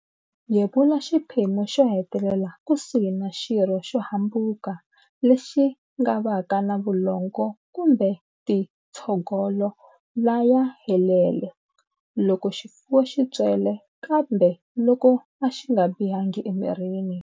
Yevula xiphemu xo hetelela kusuhi na xirho xo hambuka lexi nga va ka na vulongo kumbe tintshogolo laya helelele. Loko xifuwo xi ntswele, kambe loko a xi nga bihangi emirini.